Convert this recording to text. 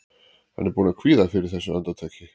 Hann er búinn að kvíða fyrir þessu andartaki.